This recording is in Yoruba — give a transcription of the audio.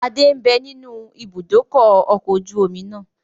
Adé ń bẹ nínú ibùdókọ̀ ọkọ̀ ojú omi náà